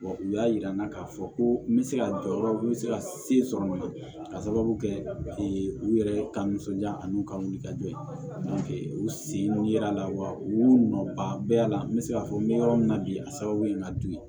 Wa u y'a jira n na k'a fɔ ko n bɛ se ka jɔyɔrɔ n bɛ se ka se sɔrɔ o la ka sababu kɛ u yɛrɛ ka nisɔndiya ani u ka wulikajɔ ye u sen yera a la wa u y'u nɔba bɛɛ yala n bɛ se k'a fɔ n bɛ yɔrɔ min na bi a sababu ye ka dun ye